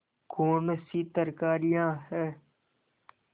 कौनसी तरकारियॉँ हैं